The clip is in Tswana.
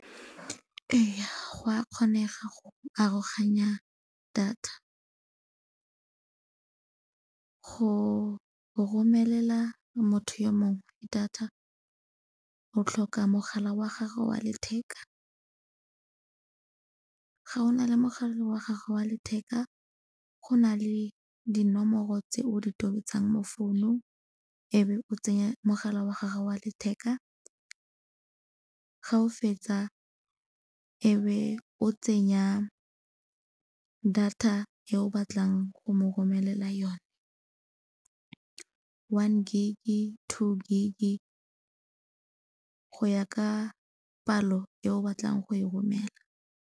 Ee, go a kgonega go aroganya data. Go romelela motho yo mongwe data o tlhoka mogala wa gagwe wa letheka, ga o na le mogala wa gagwe wa letheka go na le dinomoro tse o di tobetsang mo founung e be o tsenye mogala wa gagwe wa letheka. Ga o fetsa e be o tsenya data ye o batlang go mo romelela yone one gig-e, two gig-e go ya ka palo e o batlang go e romela.